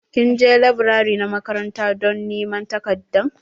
Kin je laburare na makaranta don niman takardan?